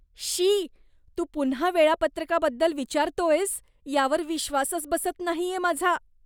श्शी, तू पुन्हा वेळापत्रकाबद्दल विचारतोयस यावर विश्वासच बसत नाहीये माझा!